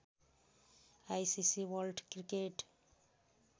ICC world cricket